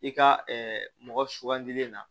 I ka ɛɛ mɔgɔ sugandilen na